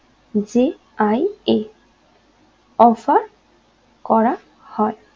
j i a offer করা হয়